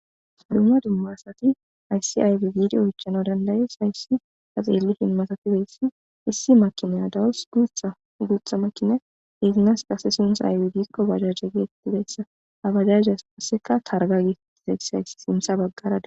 Dumma dumma asati hayssi aybbe giidi oychchana danda'es hayssi ta xellishin massatizayssi issi maakiniya dawus guththa guththa maakiniya izzisi qasse sunththay aybe giiko bajaje gettetizayssa ha bajaje qasseka targgayka getetizaysi sinththa baggara dessi.